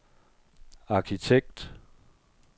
arkitekt